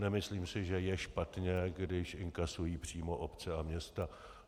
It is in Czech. Nemyslím si, že je špatně, když inkasují přímo obce a města.